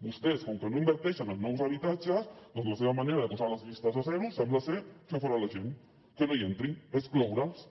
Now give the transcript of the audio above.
vostès com que no inverteixen en nous habitatges doncs la seva manera de posar les llistes a zero sembla ser fer fora la gent que no hi entrin excloure’ls